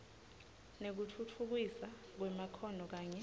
nekutfutfukiswa kwemakhono kanye